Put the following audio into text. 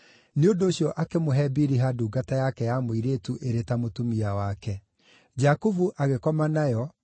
Nĩ ũndũ ũcio akĩmũhe Biliha ndungata yake ya mũirĩtu ĩrĩ ta mũtumia wake. Jakubu agĩkoma nayo,